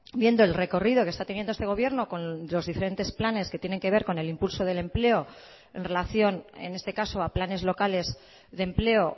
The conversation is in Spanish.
viendo el recorrido que está teniendo este gobierno con los diferentes planes que tienen que ver con el impulso del empleo en relación en este caso a planes locales de empleo